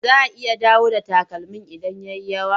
Za a iya dawowa da takalmin idan ya yi yawa.